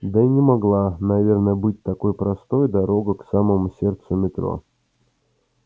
да и не могла наверное быть такой простой дорога к самому сердцу метро